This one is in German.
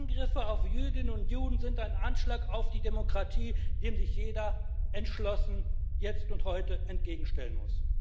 Angriffe auf Jüdinnen und Juden sind ein Anschlag auf die Demokratie, dem sich jeder entschlossen jetzt und heute entgegenstellen muss.